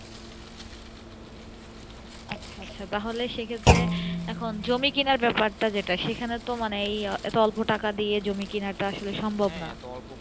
আচ্ছা আচ্ছা সে ক্ষেত্রে এখন জমি কিনে ব্যাপার টা সে খানে তো মানে এতো অল্প টাকা দিয়ে জমি কিনা টা আসলে সম্ভাব না